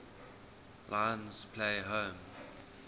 lions play home